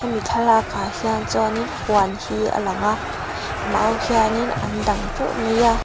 hemi thlalak ah hian chuanin huan hi a lang a mau hianin an dang teuh mai a.